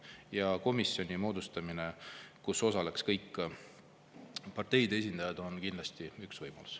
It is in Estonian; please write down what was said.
Ja komisjoni moodustamine, kus osaleks kõik parteide esindajad, on kindlasti üks võimalus.